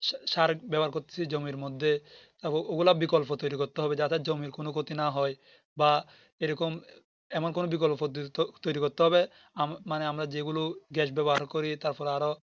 সার ব্যাবহার করতেছি জমির মধ্যে ওগুলা বিকল্প তৌরি করতে হবে যাতে জমির কোনো ক্ষতি না হয় বা এরকম এমন কোনো বিকল্প পদ্ধতি তৌরি করতে হবে মানে আমরা যে গুলো Gas ব্যবহার করি তারপরে আরো